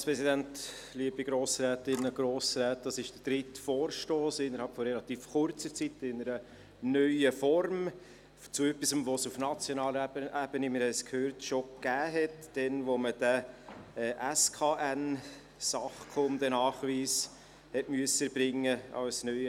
Das ist der dritte Vorstoss in einer neuen Form innerhalb relativ kurzer Zeit, zu etwas, das es auf nationaler Ebene schon gegeben hat, als man als neuer Hundehalter oder neue Hundehalterin den SNK hat erbringen müssen.